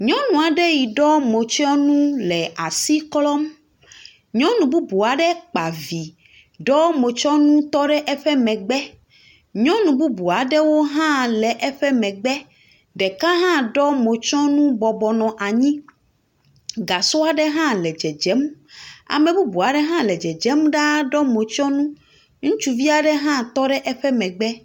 Nyɔnu aɖe yi ɖɔ motsyɔnu le asi klɔm, nyɔnu bubu aɖe kpa vi ɖɔ motysɔnu tɔ ɖe emegbe. Nyɔnu bubu aɖewo hã le eƒe megbe, ɖeka hã ɖɔ motysɔnu bɔbɔ nɔ anyi, gasɔ aɖe hã le dzedzem, ame bubu aɖe hã le dzedzem ɖaa ɖɔ motysɔnu, ŋutsuvi aɖe tɔ ɖe eƒe megbe.